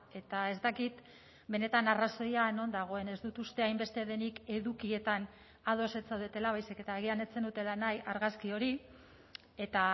eta ez dakit benetan arrazoia non dagoen ez dut uste hainbeste denik edukietan ados ez zaudetela baizik eta agian ez zenutela nahi argazki hori eta